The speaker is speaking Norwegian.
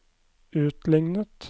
utlignet